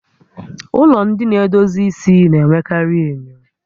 Ụlọ ndị na-edozi isi na-enwekarị enyo